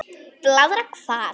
Blaðra hvað?